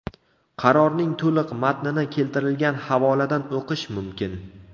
Qarorning to‘liq matnini keltirilgan havoladan o‘qish mumkin.